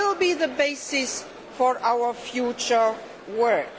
They will be the basis for our future work.